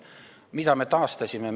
Mida me oleme taastanud?